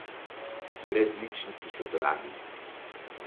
Brezličniki so dragi.